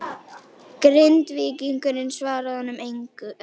Grindvíkingurinn svaraði honum engu.